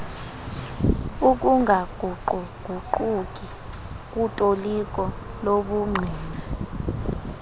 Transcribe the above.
ukungaguquguquki kutoliko lobungqina